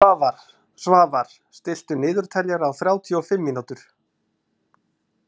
Svafar, stilltu niðurteljara á þrjátíu og fimm mínútur.